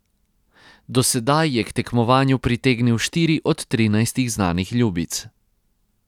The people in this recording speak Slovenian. Do sedaj je k tekmovanju pritegnil štiri od trinajstih znanih ljubic.